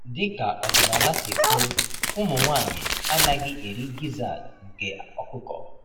Dị ka ọdịnala si kwuo, ụmụ nwanyị anaghị eri gizzard nke ọkụkọ.